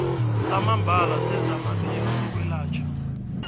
samambala sezamaphilo sokwelatjhwa